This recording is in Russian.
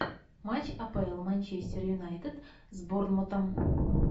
матч апл манчестер юнайтед с борнмутом